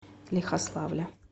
лихославля